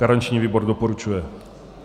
Garanční výbor doporučuje.